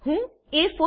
હું એ4